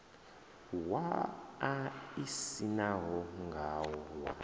wa a isaniwa ngawo wa